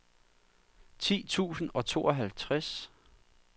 ti tusind og tooghalvtreds